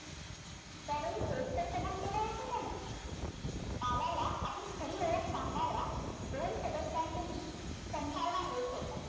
त्यावेळी तेच तर कबूल केले होते त्याने काला ला आपली खरी ओळख सांगणाऱ्या दोन सदस्यांपैकी संथाल हा एक होता